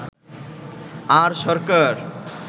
আর সরকার